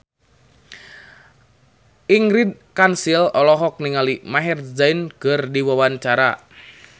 Ingrid Kansil olohok ningali Maher Zein keur diwawancara